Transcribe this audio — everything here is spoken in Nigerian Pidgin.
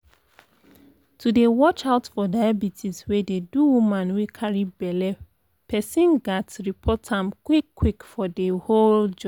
to dey watch out for diabetes wey dey do woman wey carry belle person ghats report am quick quick for de whole journey